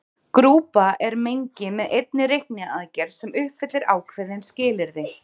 Grúpa er mengi með einni reikniaðgerð sem uppfyllir ákveðin skilyrði.